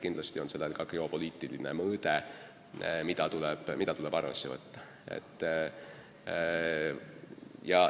Kindlasti on sellel ka geopoliitiline mõõde, mida tuleb arvesse võtta.